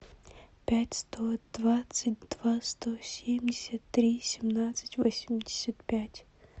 пять сто двадцать два сто семьдесят три семнадцать восемьдесят пять